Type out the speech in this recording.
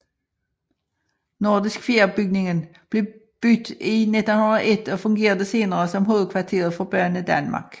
Nordisk Fjer bygningen blev bygget i 1901 og fungerede senere som hovedkvarteret for Banedanmark